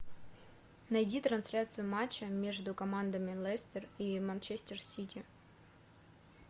найди трансляцию матча между командами лестер и манчестер сити